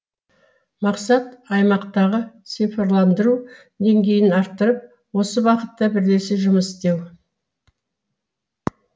мақсат аймақтағы цифрландыру деңгейін арттырып осы бағытта бірлесе жұмыс істеу